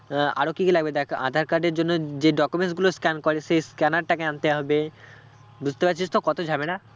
আহ আরও কি কি লাগবে দেখ আঁধার card এর জন্য যে documents গুলো scan করে সেই scanner টাকে আনতে হবে বুঝতে পারছিস তো কত ঝামেলা